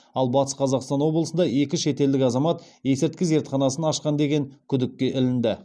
ал атыс қазақстан облысында екі шетелдік азамат есірткі зертханасын ашқан деген күдікке ілінді